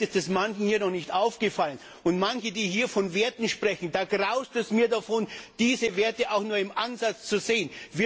Vielleicht ist das manchen hier noch nicht aufgefallen. Und manche, die hier von Werten sprechen Da graust es mir, diese Werte auch nur im Ansatz zu sehen.